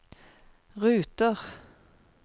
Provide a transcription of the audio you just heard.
ruter